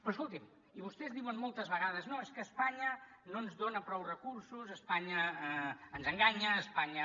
però escolti’m i vostès diuen moltes vegades no és que espanya no ens dona prou recursos espanya ens enganya espanya